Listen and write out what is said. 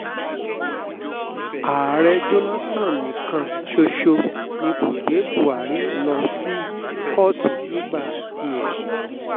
ààrẹ jonathan nìkan ṣoṣo ni kó gbé buhari lọ sí kóòtù nígbà tiẹ̀